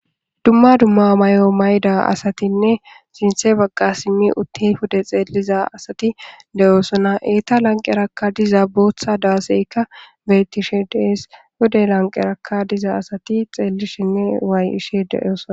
dumma dumma mayo mayda asatinne sinthe bagga simi utti pude xeelliza asati deyosona eeta lanqerakka diza bootha daaseykka beettishe dees hude lanqeraka diza asati xeellishinne waay ishe deyosona